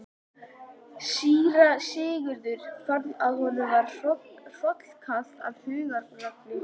Síra Sigurður fann að honum var hrollkalt af hugarangri.